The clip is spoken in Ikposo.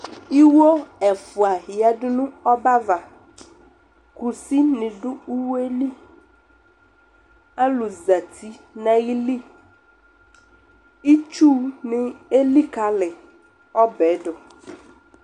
iwɔ ɛƒʋa yadʋ ɔbɛ aɣa kʋsi nidʋ iwɔɛ li, alʋ zati nʋ ayili, itsʋ ni alikali ɔbɛ dʋ